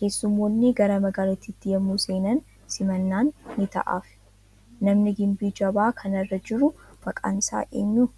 Keessummoonni gara magaalittiitti yommuu seenan, simannaan ni ta'aafii. Namni gimbii jabaa kana irra jiru maqaan isaa eenyu?